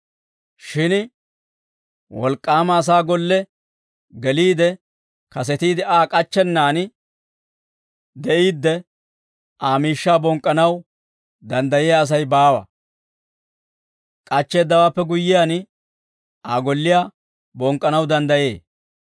«Shin wolk'k'aama asaa golle geliide kasetiide Aa k'achchennaan de'iidde, Aa miishshaa bonk'k'anaw danddayiyaa Asay baawa; k'achcheeddawaappe guyyiyaan, Aa golliyaa bonk'k'anaw danddayee.